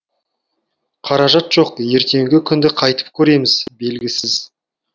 қаражат жоқ ертеңгі күнді қайтып көреміз белгісіз